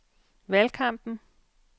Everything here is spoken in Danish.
valgkampen